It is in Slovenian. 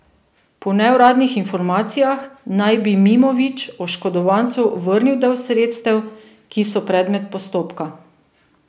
Po neuradnih informacijah naj bi Mimović oškodovancu vrnil del sredstev, ki so predmet postopka.